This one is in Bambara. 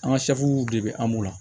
An ka de bɛ an la